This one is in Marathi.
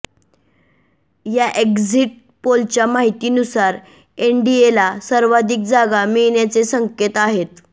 या एक्झिट पोलच्या माहितीनुसार एनडीएला सर्वाधिक जागा मिळण्याचे संकेत आहेत